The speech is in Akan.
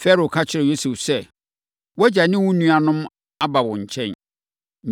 Farao ka kyerɛɛ Yosef sɛ, “Wʼagya ne wo nuanom aba wo nkyɛn.